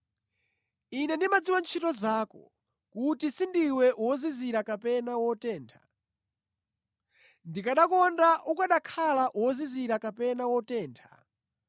Ine ndimadziwa ntchito zako, kuti sindiwe wozizira kapena wotentha. Ndikanakonda ukanakhala wozizira kapena wotentha!